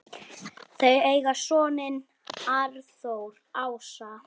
hermenn í seinna stríði.